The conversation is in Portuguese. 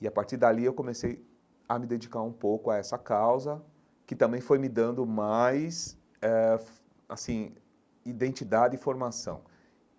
E, a partir dali, eu comecei a me dedicar um pouco a essa causa, que também foi me dando mais eh, assim, identidade e formação.